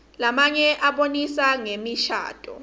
lamnye abonisa ngemishadvo